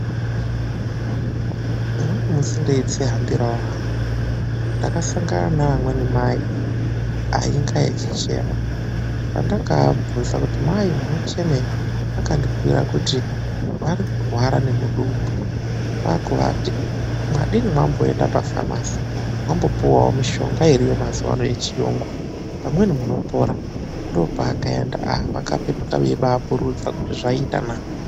Umweni musi ndeyidzihambirawo hangu, ndakasangana neamweni mai ainge eyichema pandakaabvunza, kuti mai munochemei ? vakandibhuyira kuti "vari kurwara nemudumbu", kwakuvati madii mamboenda pafamasi mambopuwawo mushonga iriyo mazuvaanaya yechiyungu pamweni munopora .Ndopavakaenda vakapetuka vachipururudza vachiti aaah zvaita naa!